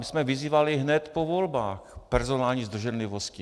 My jsme vyzývali hned po volbách personální zdrženlivostí.